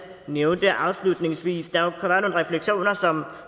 nævnte afslutningsvis reflektere over om